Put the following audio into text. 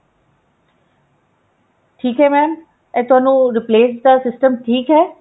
ਠੀਕ ਹੈ mam ਇਹ ਤੁਹਾਨੂੰ replace ਦਾ system ਠੀਕ ਹੈ